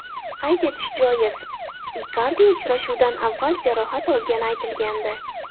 Qayd etish joiz, Ikardi uchrashuvdan avval jarohat olgani aytilgandi.